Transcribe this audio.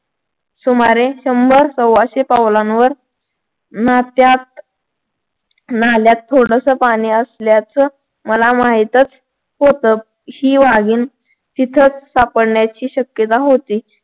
सुमारे शंभर सव्वाशे पावलांवर नात्यात नाल्यात थोडसं पाणी असल्याचं मला माहीतच होत. ही वाघीण तिथंच सापडण्याची शक्यता होती.